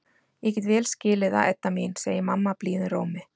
Ég get vel skilið það, Edda mín, segir mamma blíðum rómi.